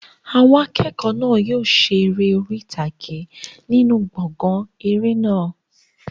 Àwọn akẹ́kọ̀ọ́ náà yóò ṣe eré orí ìtàgé nínú gbọ̀ngàn eré náà.